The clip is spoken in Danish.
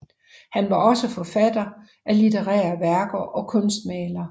Han var også forfatter af litterære værker og kunstmaler